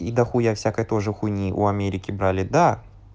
и дохуя всякой тоже хуйни у америки брали да